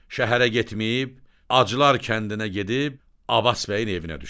Şəhərə getməyib, Acılar kəndinə gedib Avaz bəyin evinə düşür.